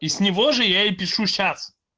и с него же я и пишу сейчас